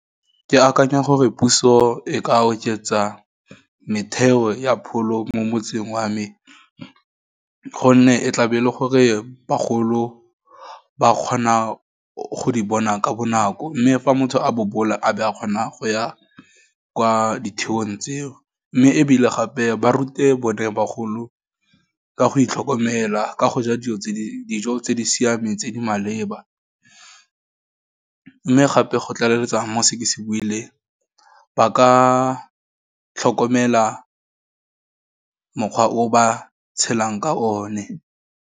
Ke akanya gore puso e ka oketsa metheo ya pholo mo motseng wa me, gonne e tlabe e le gore bagolo ba kgona go di bona ka bonako, mme fa motho a bobola, a be a kgona go ya kwa ditheong tseo, mme ebile gape ba rute bone bagolo, ka go itlhokomela, ka go ja dijo tse dijo tse di siameng tse di maleba, mme gape go tlaleletsa mo go se ke se boileng, ba ka tlhokomela mokgwa o ba tshelang ka o ne.